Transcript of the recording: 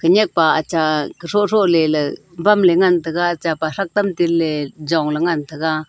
khenyak pa acha throthro leley bamley ngan tega chapa thrak tam tenley jongley ngan taiga.